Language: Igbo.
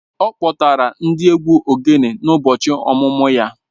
Ọ kpọtara ndị egwu ogene n'ụbọchị ọmụmụ ya